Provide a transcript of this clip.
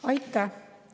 Aitäh!